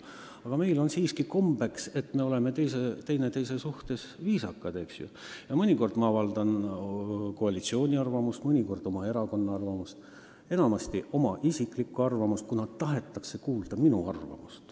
Samas meil on siiski kombeks olla üksteise vastu viisakad, eks ju, ja mõnikord ma väljendan koalitsiooni arvamust, mõnikord erakonna arvamust, tihti aga oma isiklikku arvamust, kui seda tahetakse kuulda.